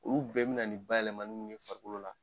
Olu bɛɛ bɛ na nin bayɛlɛmani ninnu ye farikolo la.